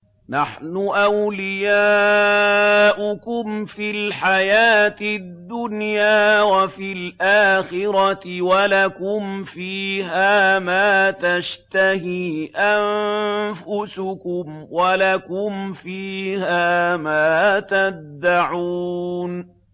نَحْنُ أَوْلِيَاؤُكُمْ فِي الْحَيَاةِ الدُّنْيَا وَفِي الْآخِرَةِ ۖ وَلَكُمْ فِيهَا مَا تَشْتَهِي أَنفُسُكُمْ وَلَكُمْ فِيهَا مَا تَدَّعُونَ